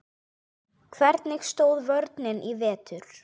Hvernig stóð vörnin í vetur?